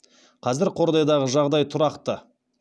қазір қордайдағы жағдай тұрақты